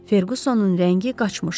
Ferqusonun rəngi qaçmışdı.